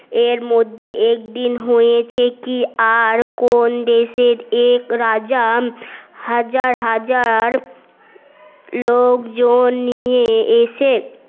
এর মধ্যে একদিন হয়েছে কি আর কোন দেশের এক রাজা হাজার হাজার লোকজন নিয়ে এসে